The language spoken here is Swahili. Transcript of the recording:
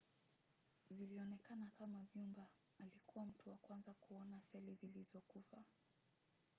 zilionekana kama vyumba. alikuwa mtu wa kwanza kuona seli zilizokufa